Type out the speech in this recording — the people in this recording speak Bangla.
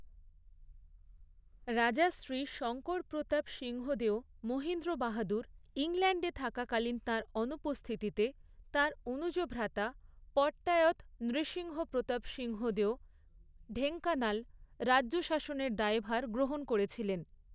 রাজা শ্রী শঙ্করপ্রতাপ সিংহদেও মহিন্দ্র বাহাদুর ইংল্যান্ডে থাকাকালীন তাঁর অনুপস্থিতিতে, তাঁর অনুজ ভ্রাতা পট্টায়ৎ নৃসিংহপ্রতাপ সিংহদেও ঢেঙ্কানাল রাজ্য শাসনের দায়ভার গ্রহণ করেছিলেন।